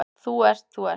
Þú ert, þú ert.